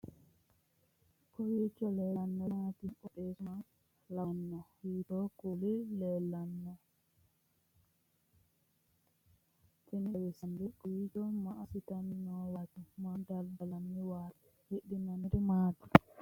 kowiicho leellannori maati ? qooxeessu maa lawaanno ? hiitoo kuuli leellanno ? tini xawissannori kawiichi maa assinanniwaati maa dadallanniwaati hidhinanniri maati